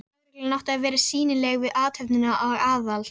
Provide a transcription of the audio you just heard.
Lögreglan átti að vera sýnileg við athöfnina og Aðal